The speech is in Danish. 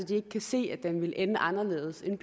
de ikke kan se at den vil ende anderledes end